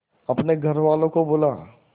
अपने घर वालों को बुला